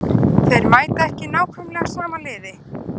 Þeir mæta ekki nákvæmlega sama liði.